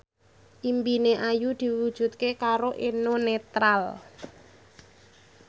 impine Ayu diwujudke karo Eno Netral